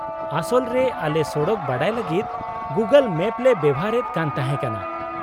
-ᱟᱥᱚᱞ ᱨᱮ ᱟᱞᱮ ᱥᱚᱲᱚᱠ ᱵᱟᱰᱟᱭ ᱞᱟᱹᱜᱤᱫ ᱜᱩᱜᱳᱞ ᱢᱮᱢ ᱞᱮ ᱵᱮᱣᱦᱟᱨ ᱮᱫ ᱠᱟᱱ ᱛᱟᱦᱮᱸ ᱠᱟᱱᱟ ᱾